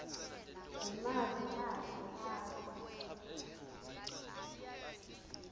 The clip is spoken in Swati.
nangemavi akhe atsi